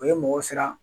O ye mɔgɔ siran